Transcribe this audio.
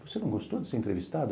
Você não gostou de ser entrevistado?